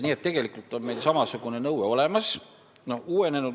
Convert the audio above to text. Nii et tegelikult on meil samasugune nõue olemas.